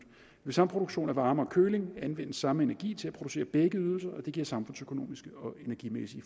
ved samproduktion af varme og køling anvendes samme energi til at producere begge ydelser og det giver samfundsøkonomiske og energimæssige